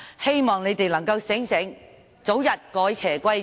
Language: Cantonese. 希望他們能夠清醒過來，早日改邪歸正。